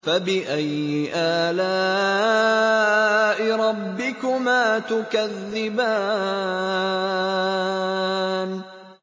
فَبِأَيِّ آلَاءِ رَبِّكُمَا تُكَذِّبَانِ